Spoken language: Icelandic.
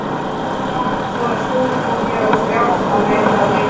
Þegar pabbi fór að sofa fór ég á stjá að leita að vinum mínum.